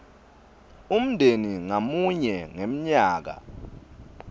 umndeni ngamunye ngemnyaka